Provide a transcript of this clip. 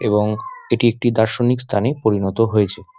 এবং এটি একটি দার্শনিক স্থানে পরিণত হয়েছে।